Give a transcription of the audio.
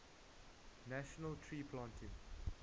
national tree planting